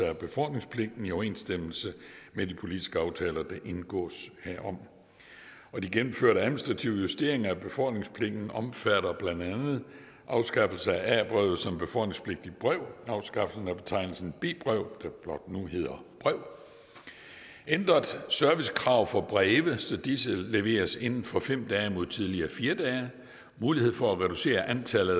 af befordringspligten i overensstemmelse med de politiske aftaler der indgås herom de gennemførte administrative justeringer af befordringspligten omfatter blandt andet afskaffelse af a brevet som befordringspligtigt brev afskaffelse af betegnelsen b brev der blot nu hedder brev ændrede servicekrav for breve så disse leveres inden for fem dage mod tidligere fire dage mulighed for at reducere antallet